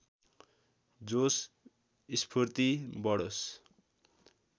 जोश स्फूर्ति बढोस्